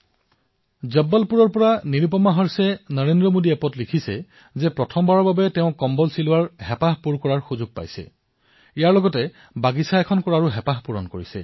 জব্বলপুৰৰ নিৰুপমা হৰ্ষেয়ই লিখিছে যে তেওঁ প্ৰথমবাৰলৈ তোছক বনোৱাৰ চখ পূৰণ কৰিবলৈ সময় পাইছে বাগানৰ কামো কৰিছে